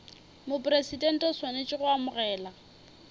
mopresidente o swanetše go amogela